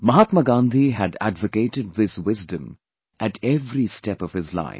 Mahatma Gandhi had advocated this wisdom at every step of his life